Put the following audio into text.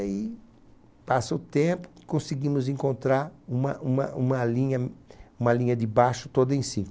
Aí passa o tempo e conseguimos encontrar uma uma uma linha de baixo toda em cinco.